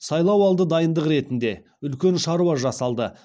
сайлау алды дайындық ретінде үлкен шаруа жасалды